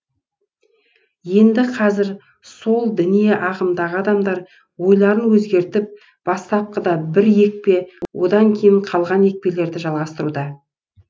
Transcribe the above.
енді қазір сол діни ағымдағы адамдар ойларын өзгертіп бастапқыда бір екпе одан кейін қалған екпелерді жалғастыруда